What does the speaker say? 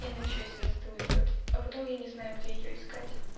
инна ещё из инсты уйдёт а потом я не знаю где её искать